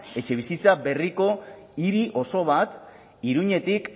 etxebizitza berriko hiri oso bat iruñetik